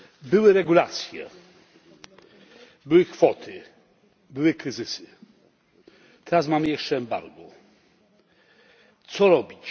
Były regulacje, były kwoty, były kryzysy. Teraz mamy jeszcze embargo. Co robić?